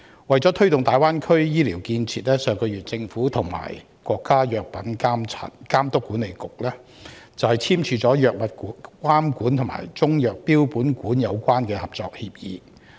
為了推動大灣區醫療建設，政府上月與國家藥品監督管理局簽署"藥物監管和中藥標本館相關合作協議"。